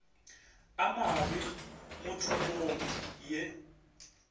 a mabe mo tikologong ye